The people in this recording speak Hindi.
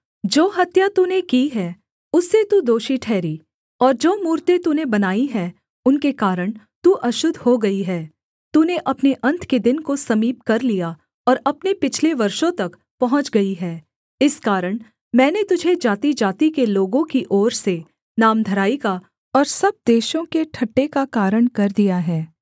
जो हत्या तूने की है उससे तू दोषी ठहरी और जो मूरतें तूने बनाई है उनके कारण तू अशुद्ध हो गई है तूने अपने अन्त के दिन को समीप कर लिया और अपने पिछले वर्षों तक पहुँच गई है इस कारण मैंने तुझे जातिजाति के लोगों की ओर से नामधराई का और सब देशों के ठट्ठे का कारण कर दिया है